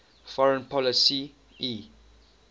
foreign policy e